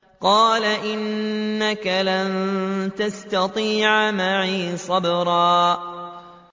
قَالَ إِنَّكَ لَن تَسْتَطِيعَ مَعِيَ صَبْرًا